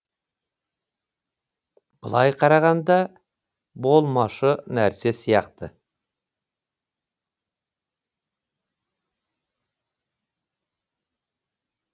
былай қарағанда болмашы нәрсе сияқты